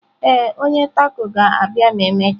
Ee, onye taco ga-abịa ma emechaa.